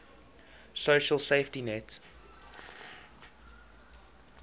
social safety net